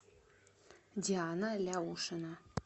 диана ляушина